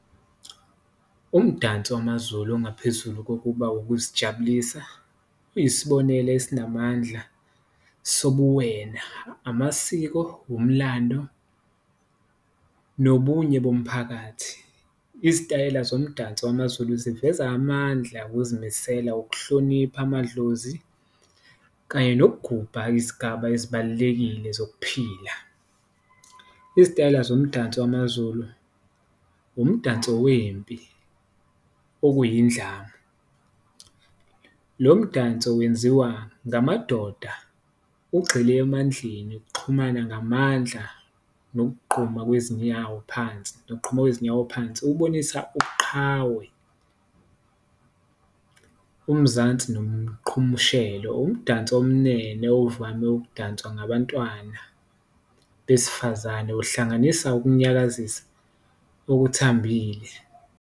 Umdanso wamaZulu ongaphezulu kokuba ukuzijabulisa uyisibonelo esinamandla sobuwena, amasiko, wumlando nobunye bomphakathi, izitayela zomdanso wamaZulu ziveza amandla, ukuzimisela, ukuhlonipha amadlozi kanye nokugubha izigaba ezibalulekile zokuphila. Izitayela zomdanso wamaZulu umdanso wempi okuyidlamu, lo mdanso wenziwa ngamadoda ugxile emandleni, ukuxhumana ngamandla nokugquma kwezinyawo phansi, nokuqhuma kwezinyawo phansi. Ukubonisa ubuqhawe, umzansi nomqhumshelo umdanso omnene ovame ukudanswa ngabantwana besifazane, uhlanganisa ukunyakazisa okuthambile.